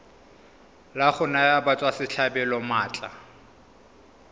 la go naya batswasetlhabelo maatla